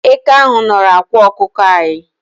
Eke ahu nọrọ ákwà ọkụkọ anyi